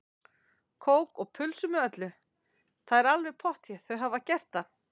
Kók og pulsu með öllu, það er alveg pottþétt, þau hafa gert það.